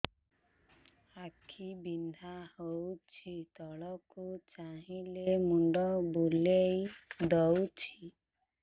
ଆଖି ବିନ୍ଧା ହଉଚି ତଳକୁ ଚାହିଁଲେ ମୁଣ୍ଡ ବୁଲେଇ ଦଉଛି